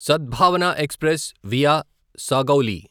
సద్భావన express via Sagauli